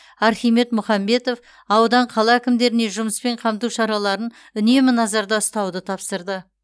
архимед мұхамбетов аудан қала әкімдеріне жұмыспен қамту шараларын үнемі назарда ұстауды тапсырды